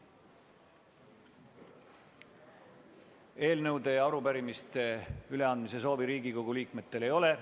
Eelnõude ja arupärimiste üleandmise soovi Riigikogu liikmetel ei ole.